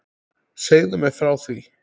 Segðu mér frá því.